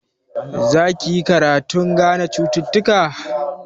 Za ki yi karatun gane cututtuka?